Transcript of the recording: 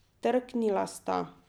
Trknila sta.